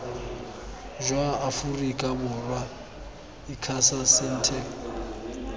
jwa aforika borwa icasa sentech